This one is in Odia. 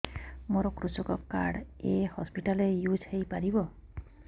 ମୋର କୃଷକ କାର୍ଡ ଏ ହସପିଟାଲ ରେ ୟୁଜ଼ ହୋଇପାରିବ